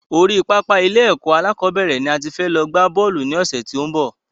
Orí pápá ilé ẹ̀kọ́ alákọ̀bẹ́rẹ̀ ni a ti fẹ́ lọ gbá Bọ́ọ̀lù ní ọ̀sẹ̀ tí ó n bọ̀